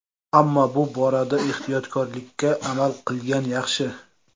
Ammo bu borada ehtiyotkorlikka amal qilgan yaxshi.